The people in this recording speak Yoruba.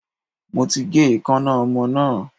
Mo ti gé eekańná ọmọ náà.